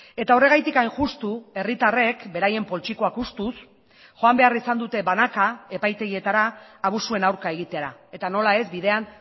eta horregatik hain justu herritarrek beraien poltsikoak hustuz joan behar izan dute banaka epaitegietara abusuen aurka egitera eta nola ez bidean